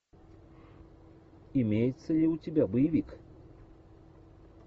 имеется ли у тебя боевик